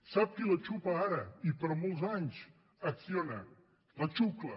sap qui la xucla ara i per molts anys acciona la xucla